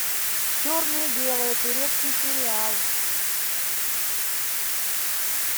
черное белое турецкий сериал